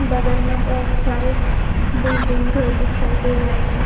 बगल में बहुत सारे बिल्डिंग घर दिखाई दे रहे हैं।